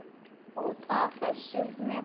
Út af. þessu með Baldur?